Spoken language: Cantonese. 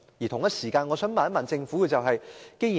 同時，我想問政府一個問題。